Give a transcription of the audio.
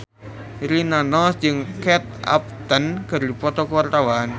Rina Nose jeung Kate Upton keur dipoto ku wartawan